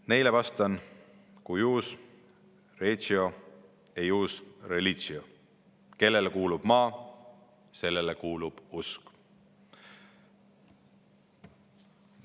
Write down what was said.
Neile vastan: cuius regio, eius religio ehk kellele kuulub maa, sellele kuulub usk.